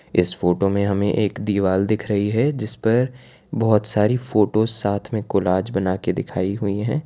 इस फोटो में हमे एक दीवाल दिख रही है जिसपर बहोत सारी फोटोज साथ में कोलाज बनाके दिखाई हुई है।